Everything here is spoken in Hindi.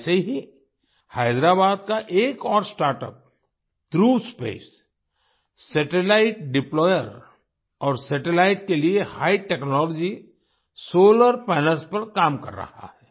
ऐसे ही हैदराबाद का एक और startups Dhruva space satellite deployer और सैटेलाइट्स के लिए हिघ टेक्नोलॉजी सोलार पैनल्स पर काम कर रहा है